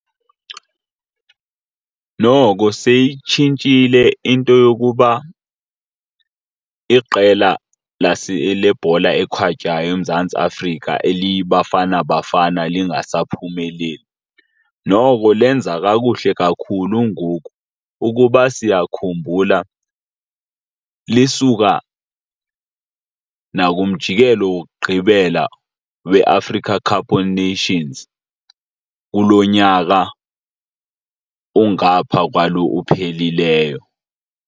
Noko seyitshintshile into yokuba iqela lebhola ekhatywayo eMzantsi Afrika eliyiBafana Bafana lingasaphumeleli. Noko lenza kakuhle kakhulu ngoku. Ukuba siyakhumbula lisuka nakumjikelo wokugqibela we-Africa Cup of Nations kulo nyaka ungapha kwalo uphelileyo.